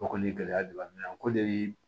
O kɔni ye gɛlɛya de b'an kan ko de bi